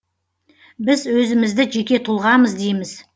біз өзімізді жеке тұлғамыз дейміз